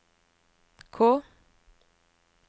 K